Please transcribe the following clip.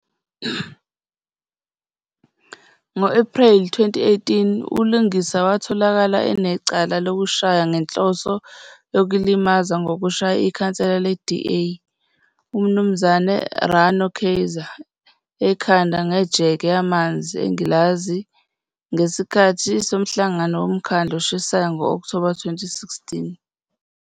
Ngo-Ephreli 2018,uLungisa watholakala enecala lokushaya ngenhloso yokulimaza ngokushaya ikhansela le-DA, uMnuz Rano Kayser, ekhanda ngejeke yamanzi engilazi ngesikhathi somhlangano womkhandlu oshisayo ngo-Okthoba 2016.